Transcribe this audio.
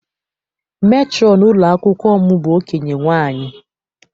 Metrọn ụlọ akwụkwọ m bụ okenye nwaanyị.